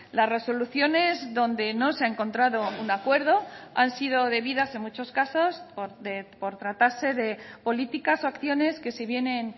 las resoluciones donde no se ha encontrado un acuerdo han sido debidas en muchos casos por tratarse de políticas o acciones que se vienen